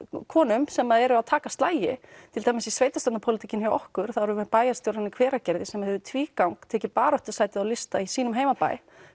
konum sem eru að taka slagi til dæmis í sveitastjórnarpólitíkinni hjá okkur erum við með bæjarstjórann í Hveragerði sem hefur tvígang tekið baráttusæti á lista í sínum heimabæ